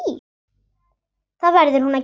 Það verður hún að gera.